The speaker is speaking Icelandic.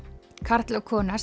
karl og kona